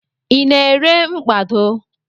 I na-ere mkpado?